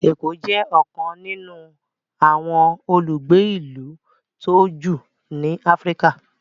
Eko jé ọkan nínú àwọn olùgbé ilú tó jù ní Africa.